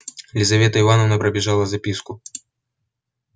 лизавета ивановна пробежала записку